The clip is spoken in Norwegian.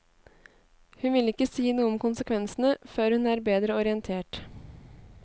Hun ville ikke si noe om konsekvensene før hun er bedre orientert.